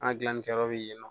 An gilanni kɛ yɔrɔ bɛ yen nɔ